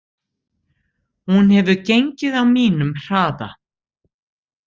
Hún hefði gengið á mínum hraða.